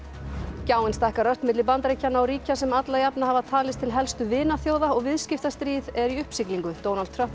gjáin stækkar ört á milli Bandaríkjanna og ríkja sem alla jafna hafa talist til helstu vinaþjóða og viðskiptastríð er í uppsiglingu Donald Trump og